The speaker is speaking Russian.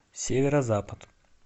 северо запад